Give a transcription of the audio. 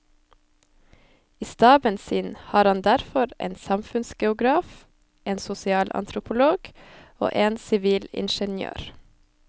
I staben sin har han derfor en samfunnsgeograf, en sosialantropolog og en sivilingeniør.